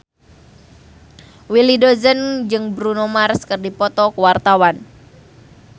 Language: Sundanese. Willy Dozan jeung Bruno Mars keur dipoto ku wartawan